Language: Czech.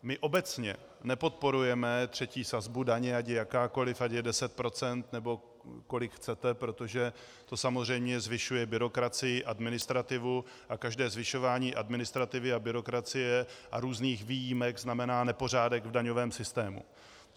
My obecně nepodporujeme třetí sazbu daně, ať je jakákoliv, ať je 10 %, nebo kolik chcete, protože to samozřejmě zvyšuje byrokracii, administrativu a každé zvyšování administrativy a byrokracie a různých výjimek znamená nepořádek v daňovém systému.